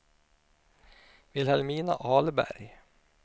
Vilhelmina Ahlberg